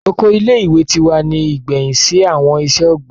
Oko ile-iwe ti wa ni igbẹhin si awọn iṣẹ-ogbin.